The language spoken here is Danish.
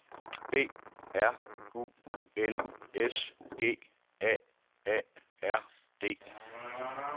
B R U N S G A A R D